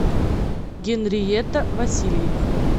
генриетта васильевна